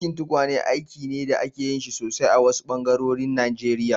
Aikin tukwane aiki ne da ake yin shi sosai a wasu ɓangarorin Najeriya